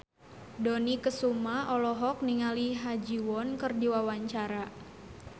Dony Kesuma olohok ningali Ha Ji Won keur diwawancara